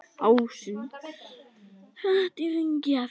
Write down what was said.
Ásinn hratt í hringi fer.